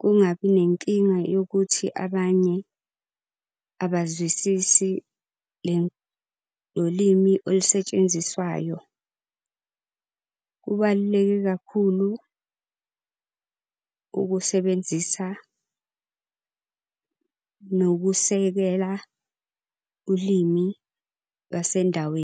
Kungabi nenkinga yokuthi abanye abazwisisi lo limi olusetshenziswayo. Kubaluleke kakhulu ukusebenzisa, nokusekela ulimi lwasendaweni.